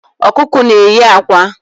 Ọkụkọ n'eyi ákwá